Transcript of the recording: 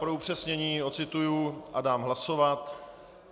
Pro upřesnění odcituji a dám hlasovat.